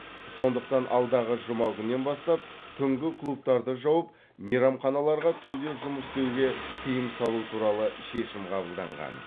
сондықтан алдағы жұма күннен бастап түнгі клубтарды жауып мейрамханаларға түнде жұмыс істеуге тыйым салу туралы шешім қабылданған